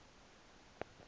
ndithi tjhu gqebe